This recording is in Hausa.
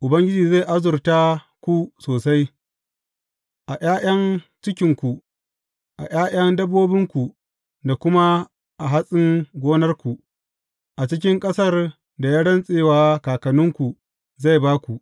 Ubangiji zai azurta ku sosai, a ’ya’yan cikinku, a ’ya’yan dabbobinku da kuma a hatsin gonarku, a cikin ƙasar da ya rantse wa kakanninku zai ba ku.